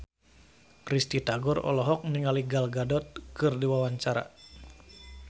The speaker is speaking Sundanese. Risty Tagor olohok ningali Gal Gadot keur diwawancara